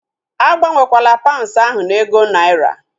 Agbanwekwala paunds ahu na ego naira!